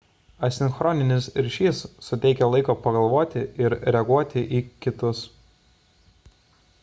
asinchroninis ryšys suteikia laiko pagalvoti ir reaguoti į kitus